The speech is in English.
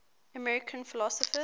american philosophers